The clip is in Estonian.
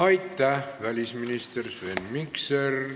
Aitäh, välisminister Sven Mikser!